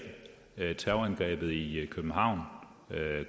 terrorangrebet i københavn